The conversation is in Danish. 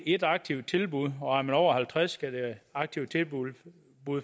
ét aktivt tilbud og er man over halvtreds år skal det aktive tilbud